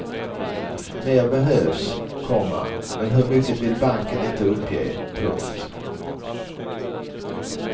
Mer behövs, komma men hur mycket vill banken inte uppge. punkt